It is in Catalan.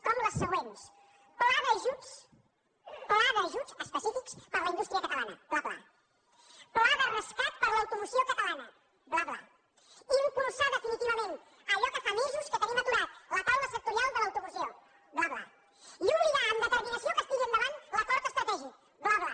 com les següents pla d’ajuts pla d’ajuts específics per a la indústria catalana bla bla pla de rescat per a l’automoció catalana bla bla impulsar definitivament allò que fa mesos que tenim aturat la taula sectorial de l’automoció bla bla i obligar amb determinació que es tiri endavant l’acord estratègic bla bla